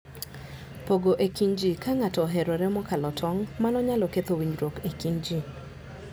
Pogo e kind ji: Ka ng'ato oherore mokalo tong', mano nyalo ketho winjruok e kind ji.